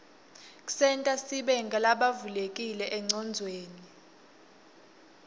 ksenta sibe ngulabavulekile enqcondweni